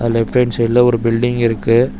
Left hand சைடுல ஒரு building இருக்கு.